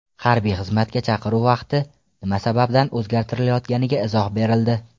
Harbiy xizmatga chaqiruv vaqti nima sababdan o‘zgartirilayotganiga izoh berildi .